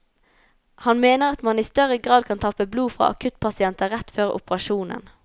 Han mener at man i større grad kan tappe blod fra akuttpasienter rett før operasjonen.